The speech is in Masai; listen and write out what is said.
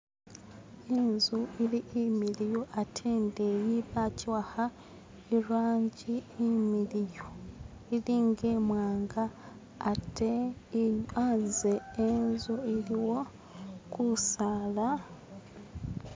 Inzu ili imiliyu ate indeyi bakiwakha irangi imiliyu ili nga imwanga ate anze enzu iliyo kusala.